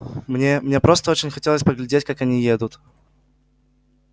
мне мне просто очень хотелось поглядеть как они едут